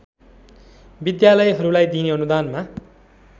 विद्यालयहरूलाई दिइने अनुदानमा